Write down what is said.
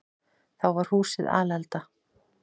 Þá var húsið alelda.